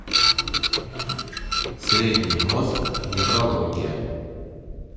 средний мозг неврология